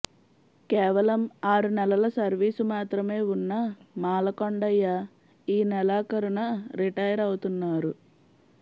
కేవలం ఆరు నెలల సర్వీసు మాత్రమే ఉన్న మాల కొండయ్య ఈ నెలాఖరున రిటైర్ అవుతున్నారు